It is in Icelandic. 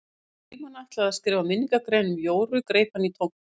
Þegar Frímann ætlaði að skrifa minningargrein um Jóru greip hann í tómt.